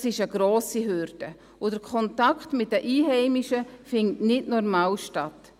Das ist eine grosse Hürde, und der Kontakt mit den Einheimischen findet nicht normal statt.